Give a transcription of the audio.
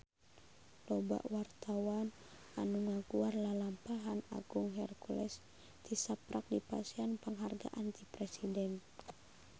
Loba wartawan anu ngaguar lalampahan Agung Hercules tisaprak dipasihan panghargaan ti Presiden